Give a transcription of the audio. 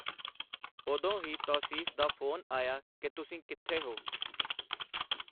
ਉਦੋਂ ਹੀ ਤੌਸੀਫ਼ ਦਾ ਫ਼ੋਨ ਆਇਆ ਕਿ ਤੁਸੀਂ ਕਿੱਥੇ ਹੋ.